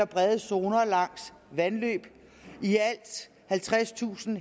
brede zoner langs vandløb i alt halvtredstusind